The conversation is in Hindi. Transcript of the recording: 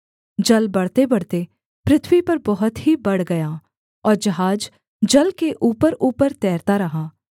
जल बढ़तेबढ़ते पृथ्वी पर बहुत ही बढ़ गया और जहाज जल के ऊपरऊपर तैरता रहा